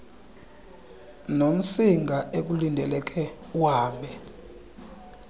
nomsinga ekulindeleke uhambe